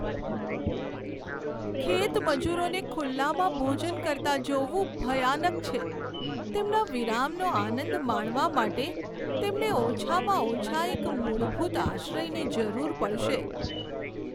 ખેતમજૂરોને ખુલ્લામાં ભોજન કરતા જોવું ભયાનક છે. તેમના વિરામનો આનંદ માણવા માટે તેમને ઓછામાં ઓછા એક મૂળભૂત આશ્રયની જરૂર પડશે.